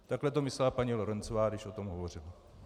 Takhle to myslela paní Lorencová, když o tom hovořila.